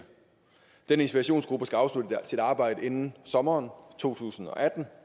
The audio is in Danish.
den inspirationsgruppe skal afslutte sit arbejde inden sommeren to tusind og atten